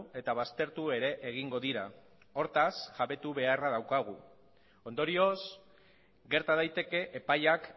eta baztertu ere egingo dira hortaz ere jabetu beharra daukagu ondorioz gerta daiteke epaiak